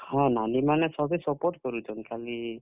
ହଁ, ନାନୀ ମାନେ ସଭେ support କରୁଛନ୍ ଖାଲି।